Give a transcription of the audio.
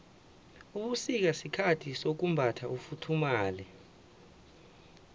ubusika sikhathi sokumbatha ufuthumale